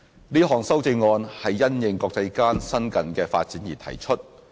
這項修正案是因應國際間新近的發展而提出。